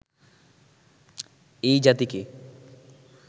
এই জাতিকে